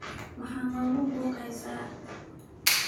Maxaa noqubuukeysa.